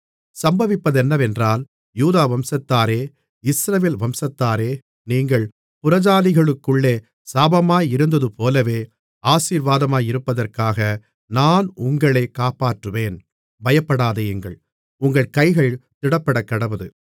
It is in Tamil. சம்பவிப்பதென்னவென்றால் யூதா வம்சத்தாரே இஸ்ரவேல் வம்சத்தாரே நீங்கள் புறஜாதிகளுக்குள்ளே சாபமாயிருந்ததுபோலவே ஆசீர்வாதமாயிருப்பதற்காக நான் உங்களைக் காப்பாற்றுவேன் பயப்படாதேயுங்கள் உங்கள் கைகள் திடப்படக்கடவது